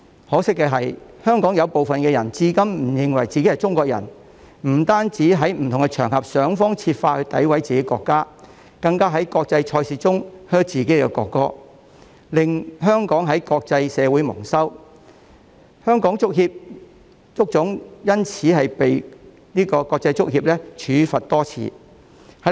可惜，香港有一部分人至今仍不肯承認自己是中國人，不但在不同場合想方設法詆毀自己國家，更在國際賽事中向自己的國歌喝倒采，令香港在國際社會蒙羞，而香港足球總會更因此被國際足球協會多次處罰。